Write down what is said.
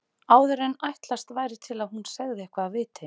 Áður en ætlast væri til að hún segði eitthvað af viti.